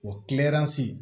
O